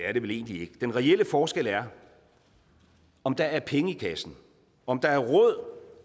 er det vel egentlig ikke den reelle forskel er om der er penge i kassen om der er råd